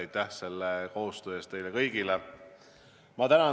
Aitäh koostöö eest teile kõigile!